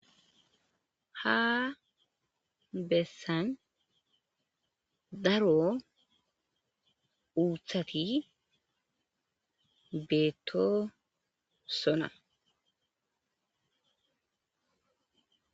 Ha bessan daaro uuththati bettosona.